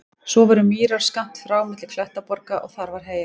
Svo voru mýrar skammt frá milli klettaborga og þar var heyjað.